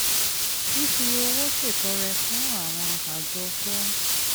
fífi owó ṣètọrẹ fún àwọn àjọ tó ń